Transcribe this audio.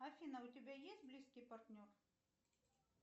афина у тебя есть близкий партнер